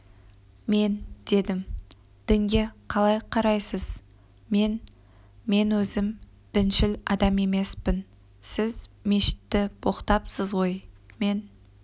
мен дедім дінге қалай қарайсыз мен мен өзім діншіл адам емеспін сіз мешітті боқтапсыз ғой мен